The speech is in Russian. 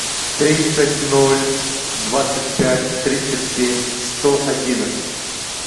тридцать ноль двадцать пять тридцать семь сто одиннадцать